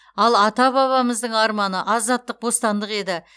ал ата бабамыздың арманы азаттық бостандық еді